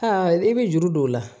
Aa i bɛ juru don o la